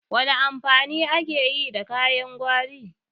Wana amfani ake yi da kayan gwari?